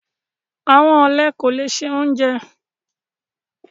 Àwọn ọlẹ kò lẹ̀ ṣẹ ọ̀unjẹ